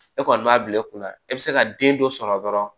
E kɔni b'a bila e kunna e bɛ se ka den dɔ sɔrɔ dɔrɔn